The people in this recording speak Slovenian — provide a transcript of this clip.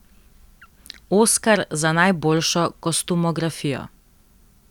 Oskar za najboljšo kostumografijo.